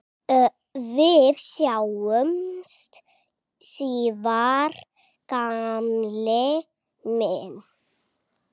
Við sjáumst síðar gamli minn.